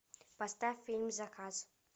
поставь фильм заказ